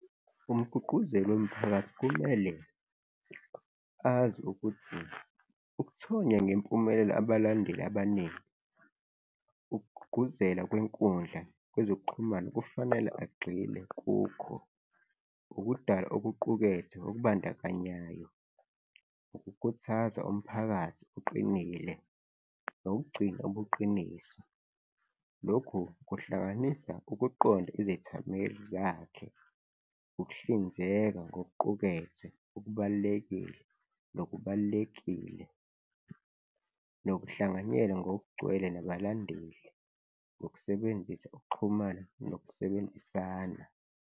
Umgqugquzeli womphakathi kumele azi ukuthi ukuthonya ngempumelelo abalandeli abaningi ukugqugquzela kwenkundla yezokuxhumana, kufanele agxile kukho ukudala okuqukethwe okubandakanyayo, ukukhuthaza umphakathi uqinile nokugcina ubuqiniso. Lokhu kuhlanganisa ukuqonda izethameli zakhe, ukuhlinzeka ngokuqukethwe okubalulekile nokubalulekile nokuhlanganyela ngokugcwele nabalandeli ngokusebenzisa ukuxhumana nokusebenzisana.